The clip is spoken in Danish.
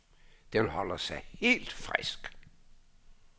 Den holder sig helt frisk.